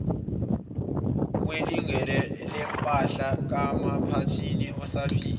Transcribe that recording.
kwilungelolempahla kaphathini osaphila